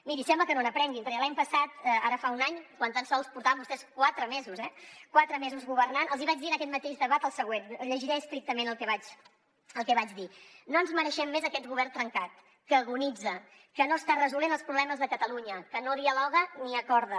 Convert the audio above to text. miri sembla que no n’aprenguin perquè l’any passat ara fa un any quan tan sols portaven vostès quatre mesos eh quatre mesos governant els hi vaig dir en aquest mateix debat el següent llegiré estrictament el que vaig dir no ens mereixem més aquest govern trencat que agonitza que no està resolent els problemes de catalunya que no dialoga ni acorda